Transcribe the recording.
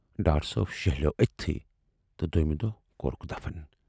ڈار صٲب شیہلوو ٲتھۍتھٕے تہٕ دویمہِ دۅہ کورُکھ دفن۔